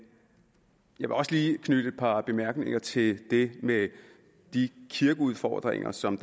jeg vil også lige knytte et par bemærkninger til det med de kirkeudfordringer som